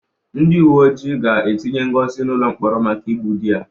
Ndị uwe ojii ga-etinye Ngozi n'ụlọ mkpọrọ maka igbu di ya.